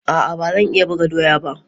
A'a, ba zan iya buga doya ba